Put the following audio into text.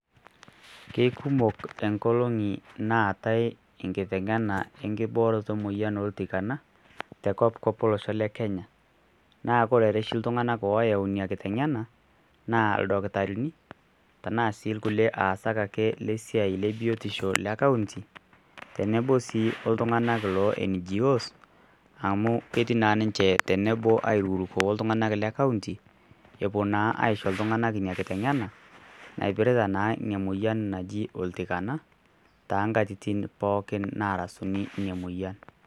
Kekumok nkolong'i naatai enkiteng'ena enkibooroto emuoyian oltikana te kopikop olosho le Kenya naa ore oshi iltung'anak ooyau ina kiteng'ena naa ildakitarino arashu kulie aasak ake le biotisho le County tenebo sii oltung'anak le NGO's amu ketii naa ninche tenebo airukuruko oltung'anak le county epuo naa aisho iltung'anak ina kiteng'ena naipirita naa ina moyian naji oltikana toonkatitin pookin naarasunyie ina moyian.